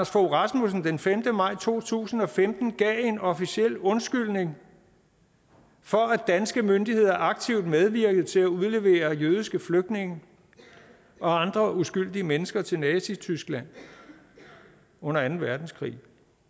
fogh rasmussen den femte maj to tusind og femten gav en officiel undskyldning for at danske myndigheder aktivt medvirkede til at udlevere jødiske flygtninge og andre uskyldige mennesker til nazityskland under anden verdenskrig